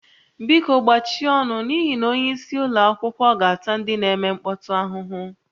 Biko gbachie ọnụ n'ihi na onyeisi ụlọ akwụkwọ ga-ata ndị na-eme mkpọtụ ahụhụ